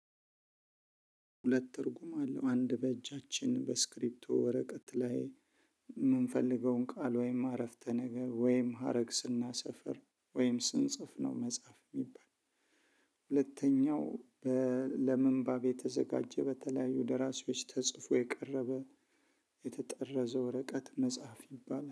ሁለት ትርጉም አለው አንድ በእጃችን በስክሪፕቶ ወረቀት ላይ የምንፈልገውን ቃል ወይም አረፍተ ነገር ወይም ሀረግ ስናሰፍር ወይም ስንጽፍ ነው መጻፍ የሚባል ሁለተኛው ለምንባብ የተዘጋጄ በተለያዩ ደራሲዎች ተጽፈው የቀረበ የተጠረዘ ወረቀት መጻፍ የባላ።